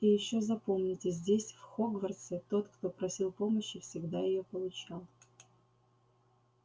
и ещё запомните здесь в хогвартсе тот кто просил помощи всегда её получал